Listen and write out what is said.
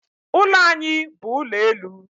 Ụlọ anyị bu ụlọ elu